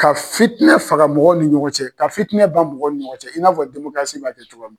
Ka fitinɛ faga mɔgɔw ni ɲɔgɔn cɛ ka fitinɛ ban mɔgɔw ni ɲɔgɔn cɛ i n'a fɔ b'a kɛ cogo min.